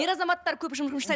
ер азаматтар көп